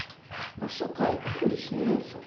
пошукай уличный мусор